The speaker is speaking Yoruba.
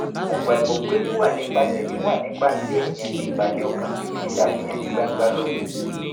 mo gbàgbọ́ pé wíwà nípa tẹ̀mí wà nipa kí ènìyàn ní ìbàlẹ̀ ọkàn ju ṣíṣàfihàn ní gbangba lọ